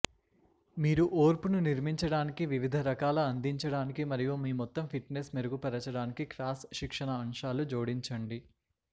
మీరు ఓర్పును నిర్మించడానికి వివిధ రకాల అందించడానికి మరియు మీ మొత్తం ఫిట్నెస్ మెరుగుపరచడానికి క్రాస్ శిక్షణ అంశాలు జోడించండి